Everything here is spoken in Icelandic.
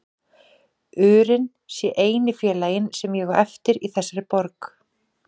urinn sé eini félaginn sem ég á eftir í þessari borg.